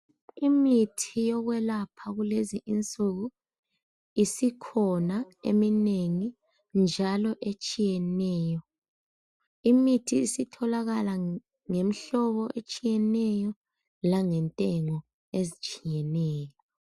Imithi yokwelapha kulezi insuku isikhona eminengi njalo etshiyeneyo. Imithi isitholakala ngemhlobo etshiyeneyo langentengo ezitshiyeneyo.